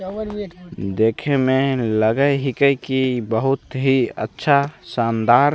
देखे में लगे ही कै की बहुत ही अच्छा शानदार --